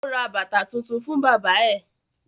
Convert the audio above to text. Ó ra bàtà tuntun fún bábà ẹ̀